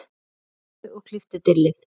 Saxaðu eða klipptu dillið.